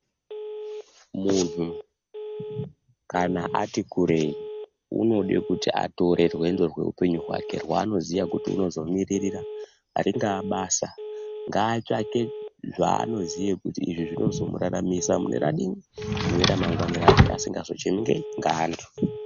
Munhu kana ati kurei, unode kuti atore rwendo rweupenyu hwake rwaanoziya kuti unozomiririra, ringaa basa, ngaatsvake zvaanoziye kuti izvi zvinozomuraramisa mune radii, ramangwani rake, asingazochemi ngeyi, ngeantu.